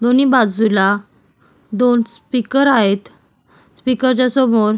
दोन्ही बाजूला दोन स्पीकर आहेत स्पीकर च्या समोर --